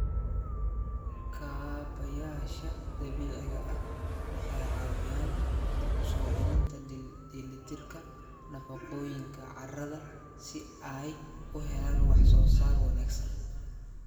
Kaabayaasha dabiiciga ah waxay caawiyaan dib u soo celinta dheelitirka nafaqooyinka carrada si ay u helaan wax soo saar wanaagsan.